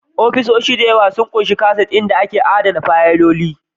Ofisoshin da yawa sun ƙunshi kaset inda ake adana fayiloli